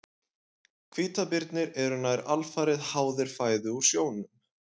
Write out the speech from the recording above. Hvítabirnir eru nær alfarið háðir fæðu úr sjónum.